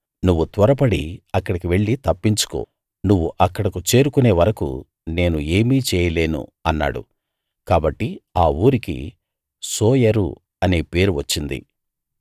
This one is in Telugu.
నువ్వు త్వరపడి అక్కడికి వెళ్లి తప్పించుకో నువ్వు అక్కడకు చేరుకునే వరకూ నేను ఏమీ చేయలేను అన్నాడు కాబట్టి ఆ ఊరికి సోయరు అనే పేరు వచ్చింది